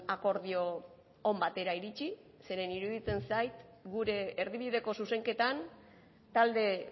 akordio on batera iritsi zeren eta iruditzen zait gure erdibideko zuzenketan talde